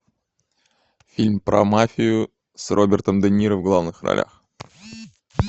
фильм про мафию с робертом де ниро в главных ролях